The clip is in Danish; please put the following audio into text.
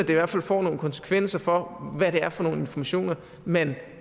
i hvert fald får nogle konsekvenser for hvad det er for nogle informationer man